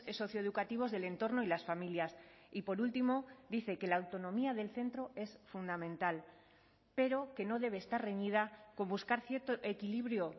socioeducativos del entorno y las familias y por último dice que la autonomía del centro es fundamental pero que no debe estar reñida con buscar cierto equilibrio